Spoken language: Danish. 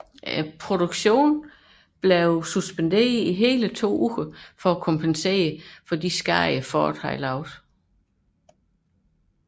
Produktionen blev suspenderet i to uger for at kompensere for Fords skade